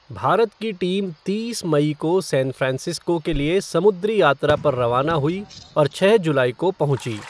भारत की टीम तीस मई को सैन फ़्रांसिस्को के लिए समुद्री यात्रा पर रवाना हुई और छः जुलाई को पहुंची।